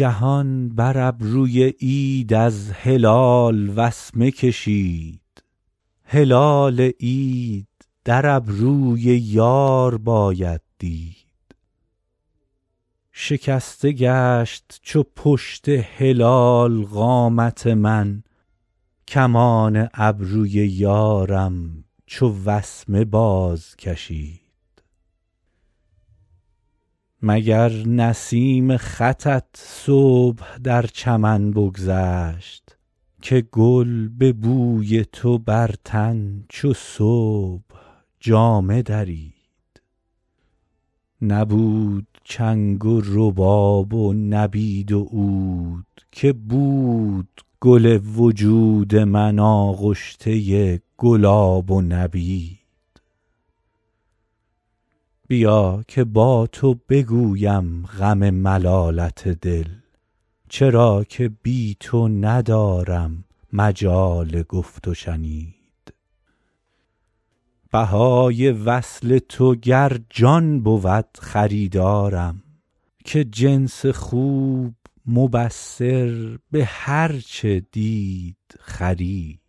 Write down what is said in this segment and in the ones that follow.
جهان بر ابروی عید از هلال وسمه کشید هلال عید در ابروی یار باید دید شکسته گشت چو پشت هلال قامت من کمان ابروی یارم چو وسمه بازکشید مگر نسیم خطت صبح در چمن بگذشت که گل به بوی تو بر تن چو صبح جامه درید نبود چنگ و رباب و نبید و عود که بود گل وجود من آغشته گلاب و نبید بیا که با تو بگویم غم ملالت دل چرا که بی تو ندارم مجال گفت و شنید بهای وصل تو گر جان بود خریدارم که جنس خوب مبصر به هر چه دید خرید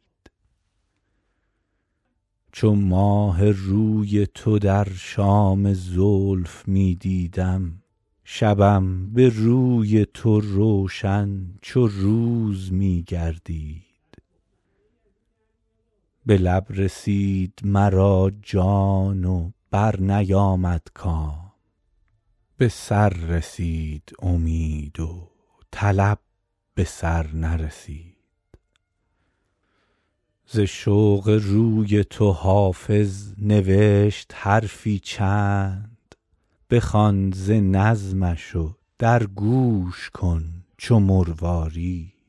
چو ماه روی تو در شام زلف می دیدم شبم به روی تو روشن چو روز می گردید به لب رسید مرا جان و برنیامد کام به سر رسید امید و طلب به سر نرسید ز شوق روی تو حافظ نوشت حرفی چند بخوان ز نظمش و در گوش کن چو مروارید